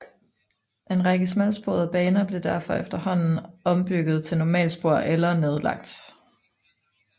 En række smalsporede baner blev derfor efterhånden ombygget til normalspor eller nedlagt